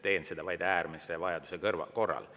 Teen seda vaid äärmise vajaduse korral.